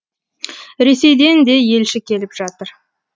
ресейден де елші келіп жатыр